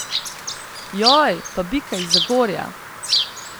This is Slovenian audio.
Joj, pa bika iz Zagorja!